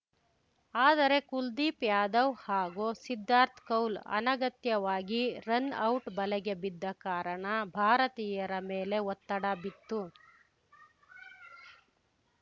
ಆದರೆ ಕುಲ್ದೀಪ್‌ ಯಾದವ್‌ ಹಾಗೂ ಸಿದ್ಧಾರ್ಥ್ ಕೌಲ್‌ ಅನಗತ್ಯವಾಗಿ ರನೌಟ್‌ ಬಲೆಗೆ ಬಿದ್ದ ಕಾರಣ ಭಾರತೀಯರ ಮೇಲೆ ಒತ್ತಡ ಬಿತ್ತು